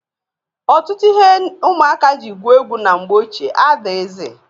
Ọtụtụ ihe ụmụaka ji gwue egwu na mgbe ochie adịghịzị.